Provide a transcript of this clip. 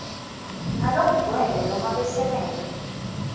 ngalokugcwele nobe besekele